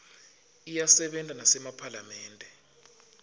iyasebenta nasema phalamende